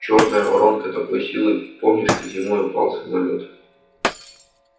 чёрная воронка такой силы помнишь как зимой упал самолёт